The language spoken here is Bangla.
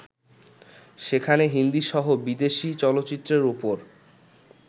সেখানে হিন্দিসহ বিদেশি চলচ্চিত্রের ওপর